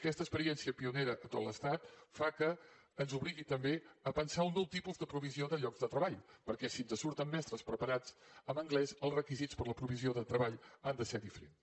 aquesta experiència pionera a tot l’estat fa que ens obligui també a pensar un nou tipus de provisió de llocs de treball perquè si ens surten mestres preparats amb anglès els requisits per a la provisió de treball han de ser diferents